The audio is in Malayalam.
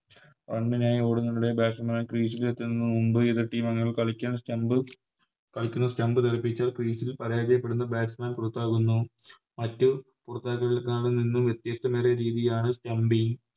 പന്തിനായി ഓടുന്നതിന് Batsman മാർ Crease ൽ എത്തുന്നതിന് മുമ്പ് എതിർ Team അംഗങ്ങൾ കളിക്കാൻ Stump കളിക്കുന്ന Stump തെറിപ്പിച്ച് Crease പരാജയപ്പെടുന്ന Batsman പുറത്താകുന്നു മറ്റ് പുറത്താക്കലുകളെക്കാളും നിന്ന് വ്യത്യസ്തമായ രീതിയാണ് Stumping